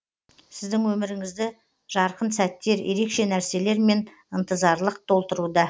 сіздің өміріңізді жарқын сәттер ерекше нәрселер мен ынтызарлық толтыруда